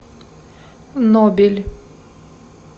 нобель